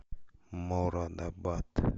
морадабад